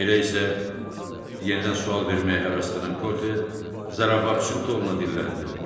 Elə isə yenidən sual verməyə həvəslənən Korte zarafatçıl tonda dilləndi.